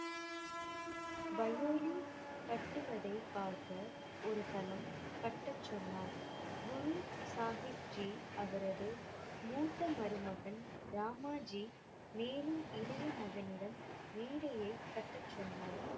பயோலி கட்டுவதை பார்க்க ஒரு தளம் கட்டச் சொன்னார் குரு சாஹிப் ஜி. அவரது மூத்த மருமகன் ராமாஜி மேலும் இளைய மகனிடம் மேடையைக் கட்டச் சொன்னார்.